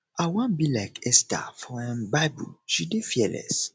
i wan be like esther for um bible she dey fearless